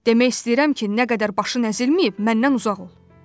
Demək istəyirəm ki, nə qədər başın əzilməyib, məndən uzaq ol.